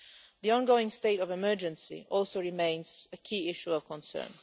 The ongoing state of emergency also remains a key issue of concern.